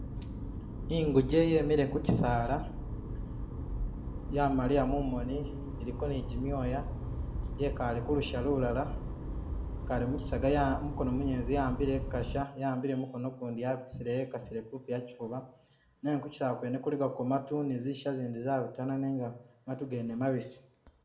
Inguje yemile khu kusaala yamaliya mumoni iliko ne jimyoya, yekaale ku lusha lulala, yekaale mukisaga ya mumukono munyeletsi yawambile ku kasha yaambile kumukono ukundi yabitisile yekasile kupi akifuba nenga kuchisaala kwene kulikako maatu ne zisha izindi zabitana nenga maatu gene mabisi.